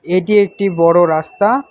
এটি একটি বড় রাস্তা।